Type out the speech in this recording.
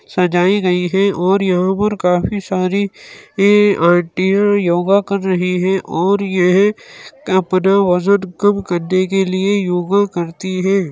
सजाई गई है और यहाँ पर काफी सारी ये आंटियाँ योगा कर रही हैं और और ये अपना वजन कम करने के लिए योग करती हैं ।